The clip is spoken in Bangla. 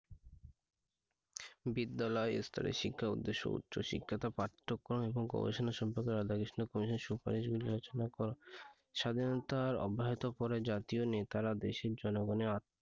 বিদ্যালয় স্তরে শিক্ষার উদ্দেশ্য উচ্চ শিক্ষা টা পাঠ্যক্রমে এবং গবেষণা সম্পর্কে স্বাধীনতার অব্যহত জাতীয় নেতারা দেশের জনগণের,